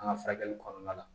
An ka furakɛli kɔnɔna la